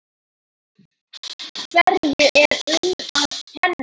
Hverju er um að kenna?